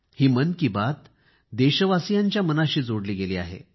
ही मन की बात देशवासियांच्या मनाशी जोडली गेली आहे